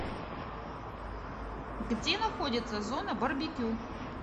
где находится зона барбекю